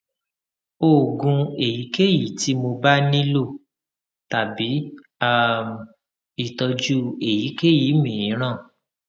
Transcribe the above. oògùn èyíkéyìí tí mo bá tí mo bá nílò tàbí um ìtọjú èyíkéyìí mìíràn